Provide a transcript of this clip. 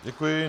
Děkuji.